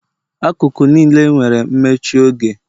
Akụkụ niile nwere mmechi oge